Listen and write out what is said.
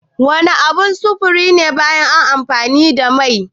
Wana abun sufuri ne baya amfani da mai?